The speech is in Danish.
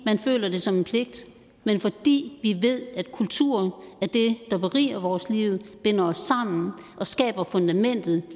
man føler det som en pligt men fordi vi ved at kultur er det der beriger vores liv binder os sammen og skaber fundamentet